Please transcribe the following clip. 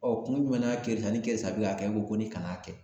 kun jumɛn na kerisa ni kerisa bi ka kɛ e ko ko ni kan'a kɛ ?